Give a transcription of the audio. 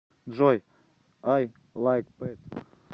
джой ай лайк пэт